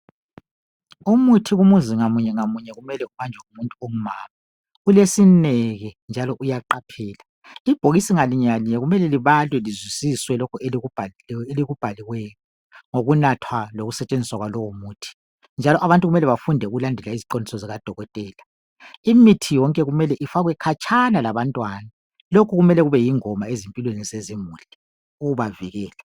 Umuthi kumzi ngamunyengamunye kumele ubanjwe ngumuntu ongumama , ulesineke njalo uyaqaphela , ibhokisi linyengalinye kumele libhalwe lizwisiswe lokho elikubhaliweyo ngokunathwa lokusetshenziswa kwalowo muthi njalo abntu kumele bafunde ukulandela iziqondiso zikadokotela , imithi yonke kumele ifakwe khatshana labantwana, lokhu kufanele kube yingoma empilweni zezimuli ukubavikela